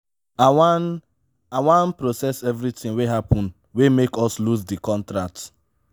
i wan i wan process everytin wey happen wey make us loose di contract.